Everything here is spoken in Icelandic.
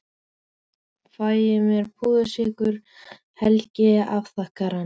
Ég fæ mér púðursykur en Helgi afþakkar hann.